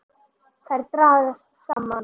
Þær dragast saman.